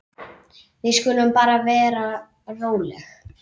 Við skulum bara vera róleg.